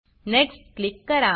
next click करा